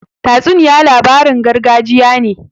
Tatsuniya labarin gargajiya ne.